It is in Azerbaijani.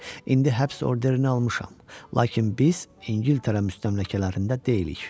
İndi həbs orderini almışam, lakin biz İngiltərə müstəmləkələrində deyilik.